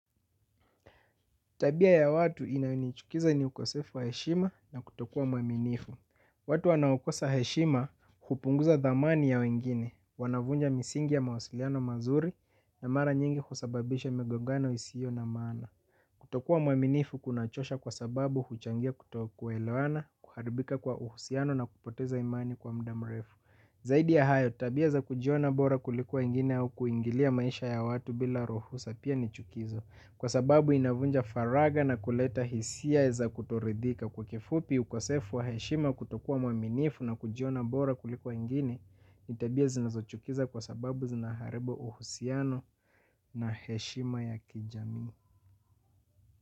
Tabia ya watu inayonichukiza ni ukosefu wa heshima na kutokua mwaminifu. Watu wanaokosa heshima hupunguza dhamani ya wengine, wanavunja misingi ya mawasiliano mazuri na mara nyingi kusababisha migogano isio na maana. Kutokua mwaminifu kunachosha kwa sababu huchangia kutokuelewana, kuharibika kwa uhusiano na kupoteza imani kwa muda mrefu. Zaidi ya hayo, tabia za kujiona bora kuliko wengine au kuingilia maisha ya watu bila ruhusa pia nichukizo. Kwa sababu inavunja faraga na kuleta hisia za kutoridhika kwa kifupi ukosefu wa heshima kutokua mwaminifu na kujiona bora kuliko wengini, ni tabia zinazochukiza kwa sababu zinaharibu uhusiano na heshima ya kijami.